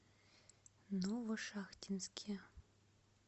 новошахтинске